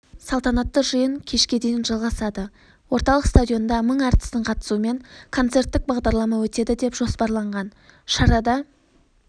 салтанатты жиын кешке дейін жалғасады орталық стадионда мың әртістің қатысуымен концерттік бағдарлама өтеді деп жоспарланған шарада